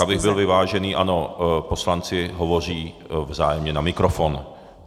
Tak abych byl vyvážený - ano, poslanci hovoří vzájemně na mikrofon.